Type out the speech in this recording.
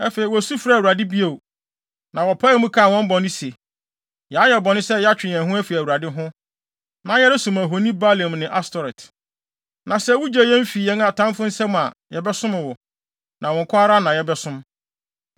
Afei, wosu frɛɛ Awurade bio, na wɔpaee mu kaa wɔn bɔne se, ‘Yɛayɛ bɔne sɛ yɛatwe yɛn ho afi Awurade ho, na yɛresom ahoni Baalim ne Astoret. Na sɛ wugye yɛn fi yɛn atamfo nsam a, yɛbɛsom wo, na wo nko ara na yɛbɛsom.’